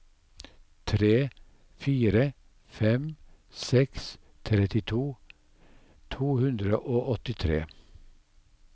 tre fire fem seks trettito to hundre og åttitre